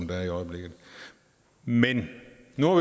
der er i øjeblikket men nu